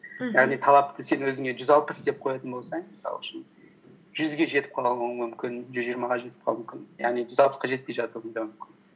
мхм яғни талапты сен өзіңе жүз алпыс деп қоятын болсаң мысал үшін жүзге жетіп қалуың мүмкін жүз жиырмаға жетіп қалуың мүмкін яғни жүз алпысқа жетпей жатуың да мүмкін